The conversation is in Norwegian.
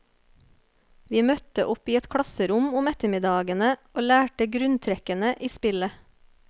Vi møtte opp i et klasserom om ettermiddagene og lærte grunntrekkene i spillet.